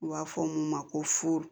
U b'a fɔ mun ma ko fu